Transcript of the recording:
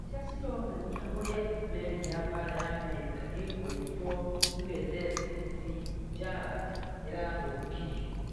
Mbica cironania ũrĩa meri ya mbara ya Amerika ĩgwĩtwo USS Fitzgerald ĩrathũkirio.